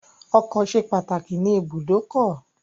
Ọkọ̀ ṣe pàtàkì ní ìbùdókọ̀.